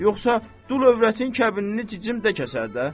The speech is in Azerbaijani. Yoxsa dul övrətin kəbinini cicim də kəsər də.